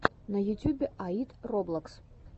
на ютюбе аид роблокс